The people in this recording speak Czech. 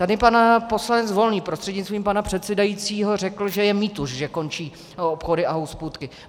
Tady pan poslanec Volný prostřednictvím pana předsedajícího řekl, že je mýtus, že končí obchody a hospůdky.